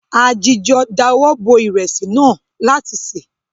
A jìjọ dáwọ bo ìrẹsì náà láti se.